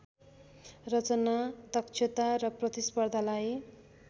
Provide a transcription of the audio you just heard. रचना दक्षता र प्रतिस्पर्धालाई